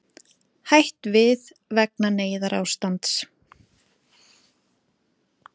Hætt við vegna neyðarástands